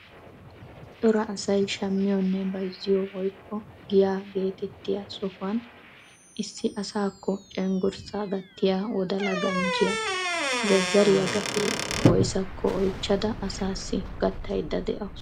Cora asay shammiyoonne bayzziyoo woykko giyaa gettettiyaa sohuwaan issi asaakko cenggurssaa gattiyaa wodala ganjjiyaa zazariyaa gatee woyssaako oychchada asaasi gattayda de'awus.